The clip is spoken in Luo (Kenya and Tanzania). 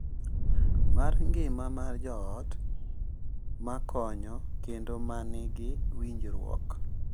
Mar ngima mar joot ma konyo kendo ma nigi winjruok,